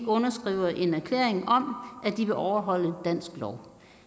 underskriver en erklæring om at de vil overholde dansk lov